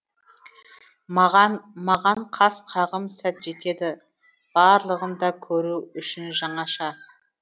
маған маған қас қағым сәт жетеді барлығын да көру үшін жаңаша